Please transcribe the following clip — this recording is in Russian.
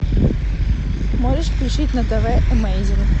можешь включить на тв эмейзинг